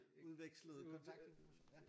Udvekslede kontaktinformationer